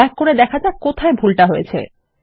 back করে দেখা যাক কোথায় ভুল হয়েছে